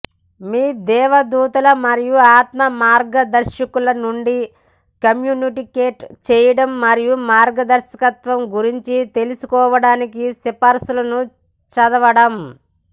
మీ దేవదూతలు మరియు ఆత్మ మార్గదర్శకుల నుండి కమ్యూనికేట్ చేయడం మరియు మార్గదర్శకత్వం గురించి తెలుసుకోవడానికి సిఫార్సులను చదవడం